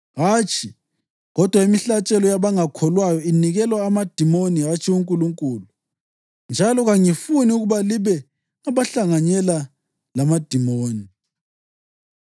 Hatshi, kodwa imihlatshelo yabangakholwayo inikelwa emadimonini hatshi kuNkulunkulu, njalo kangifuni ukuba libe ngabahlanganyela lamadimoni.